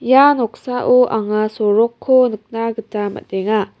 ia noksao anga sorokko nikna gita man·enga.